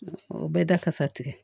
O bɛɛ da kasa tigɛ